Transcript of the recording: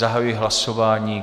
Zahajuji hlasování.